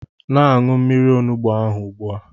Na-aṅụ mmiri onugbu ahụ ugbu a!